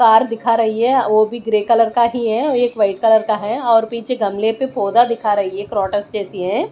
Car दिखा रही है वो भी ग्रे कलर का ही है एक व्हाइट कलर का है और पीछे गमले पे पौधा दिखा रही है जैसी है।